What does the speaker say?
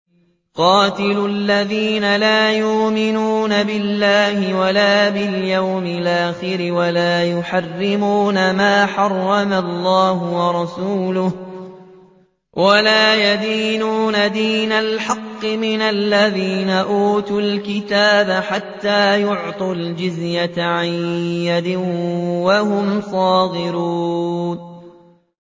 قَاتِلُوا الَّذِينَ لَا يُؤْمِنُونَ بِاللَّهِ وَلَا بِالْيَوْمِ الْآخِرِ وَلَا يُحَرِّمُونَ مَا حَرَّمَ اللَّهُ وَرَسُولُهُ وَلَا يَدِينُونَ دِينَ الْحَقِّ مِنَ الَّذِينَ أُوتُوا الْكِتَابَ حَتَّىٰ يُعْطُوا الْجِزْيَةَ عَن يَدٍ وَهُمْ صَاغِرُونَ